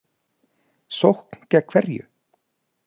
Sókn gegn hverju?